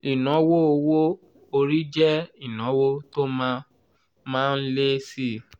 ìnáwó owó orí jẹ́ ìnáwó tó má má ń lé síi.